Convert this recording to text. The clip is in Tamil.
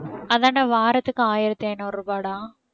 அதான்டா வாரத்துக்கு ஆயிரத்தி ஐநூறு ரூபாய்டா